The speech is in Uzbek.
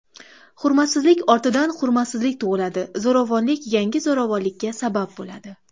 Hurmatsizlik ortidan hurmatsizlik tug‘iladi, zo‘ravonlik yangi zo‘ravonlikka sabab bo‘ladi.